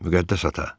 Müqəddəs ata.